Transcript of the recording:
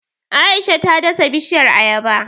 Aisha ta dasa bishiyar Ayaba